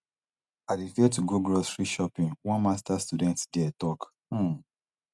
i dey fear to go grocery shopping one masters student dia tok um